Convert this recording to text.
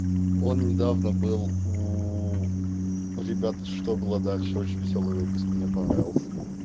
он недавно был у ребята что было дальше очень весёлый выпуск мне понравился